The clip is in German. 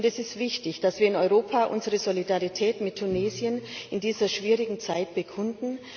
Es ist wichtig, dass wir in Europa unsere Solidarität mit Tunesien in dieser schwierigen Zeit bekunden.